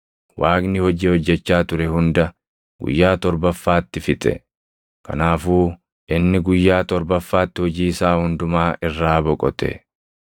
Waaqni hojii hojjechaa ture hunda guyyaa torbaffaatti fixe; kanaafuu inni guyyaa torbaffaatti hojii isaa hundumaa irraa boqote.